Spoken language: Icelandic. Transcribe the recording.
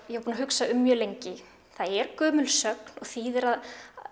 ég var búin að hugsa um mjög lengi það er gömul sögn og þýðir að